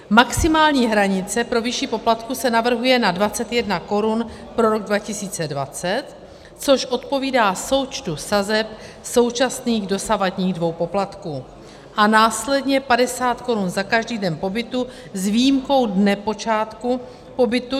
Maximální hranice pro výši poplatku se navrhuje na 21 korun pro rok 2020, což odpovídá součtu sazeb současných dosavadních dvou poplatků, a následně 50 korun za každý den pobytu s výjimkou dne počátku pobytu.